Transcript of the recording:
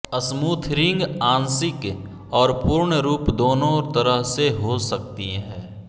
smothering आंशिक और पूर्ण रूप दोनों तरह से हो सकती है